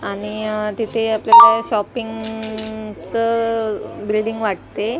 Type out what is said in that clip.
आणि तिथे आपल्याला शॉपिंगचं ब्रेडिंग वाटते.